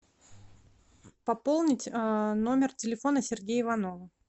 пополнить номер телефона сергея иванова